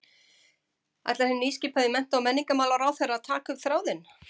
Ætlar hinn nýskipaði mennta- og menningarmálaráðherra að taka upp þráðinn?